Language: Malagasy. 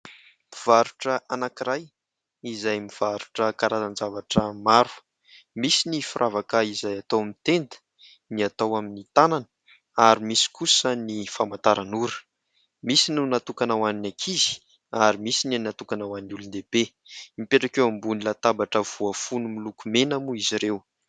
mpivarotra anankiray izay mivarotra karazan- zavatra maro misy ny firavakah izay atao amin'ny tenda ny atao amin'ny tanana ary misy kosa ny famantaranora misy no natokana ho an'ny akizy ary misy ny natokana ho an'ny olondehibe mipetraka eo ambon'ny latabatra voafono milokomena moa izy ireo